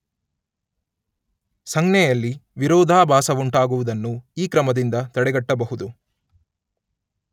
ಸಂಜ್ಞೆಯಲ್ಲಿ ವಿರೋಧಾಭಾಸವುಂಟಾಗುವುದನ್ನು ಈ ಕ್ರಮದಿಂದ ತಡೆಗಟ್ಟಬಹುದು